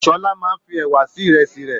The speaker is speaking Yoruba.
Shola máa n fí ẹwà sí ìrèsì rẹ.